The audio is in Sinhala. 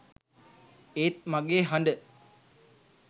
ඒත් මගේ හඬ